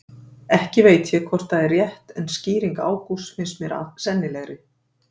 Ekki veit ég hvort það er rétt en skýring Ágústs finnst mér sennilegri.